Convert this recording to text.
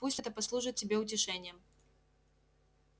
пусть это послужит тебе утешением